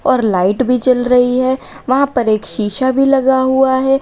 और लाइट भी जल रही है वहां पर एक शीशा भी लगा हुआ है।